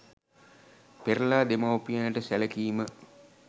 පෙරලා දෙමවුපියනට සැලකීම